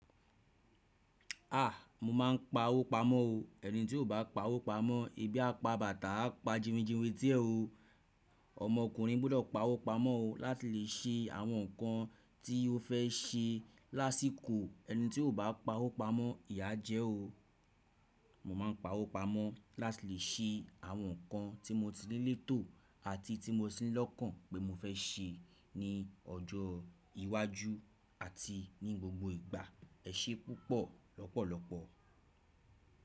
À! Mo ma ń pa owó pamọ́ o. Ẹni tí ò bá pa owó pamọ́, ebi á pa bàtá á pa jiwinjiwin etí ẹ̀ o. Ọmọkùnrin gbọ́dọ̀ pa owó pamọ́ o láti lè ṣe àwọn nǹkan tí ó fẹ́ ṣe lásìkò. Eni tí ò bá pawó pamọ́ ìyà á jẹ ẹ́ o. Mo má ń pa owó pamọ́ láti lè ṣe àwọn ohun kan tí mo ti ní létò àti tí mo tí ní lọ́kàn ní ọjọ́ iwájú àti ní gbogbo ìgbà. Ẹ ṣé púpọ̀ lọ́pọ̀lọpọ̀.